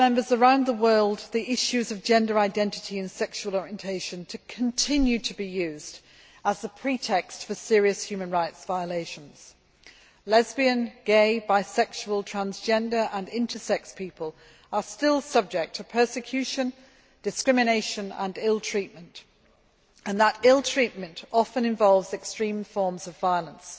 Around the world, the issues of gender identity and sexual orientation continue to be used as a pretext for serious human rights violations lesbian, gay, bi sexual, transgender and intersex people are still subject to persecution, discrimination and ill treatment, and that ill treatment often involves extreme forms of violence.